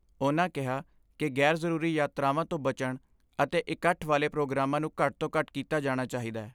ਉਨ੍ਹਾਂ ਕਿਹਾ ਕਿ ਗੈਰ ਜ਼ਰੂਰੀ ਯਾਤਰਾਵਾਂ ਤੋਂ ਬਚਣ ਅਤੇ ਇਕੱਠ ਵਾਲੇ ਪ੍ਰੋਗਰਾਮਾਂ ਨੂੰ ਘੱਟ ਤੋਂ ਘੱਟ ਕੀਤਾ ਜਾਣਾ ਚਾਹੀਦੈ।